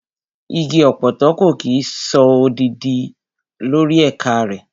Igi ọ̀pọ̀tọ́ kò kí ń so òdòdó lórí ẹ̀ka rẹ̀.